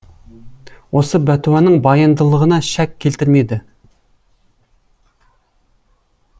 осы бәтуаның баяндылығына шәк келтірмеді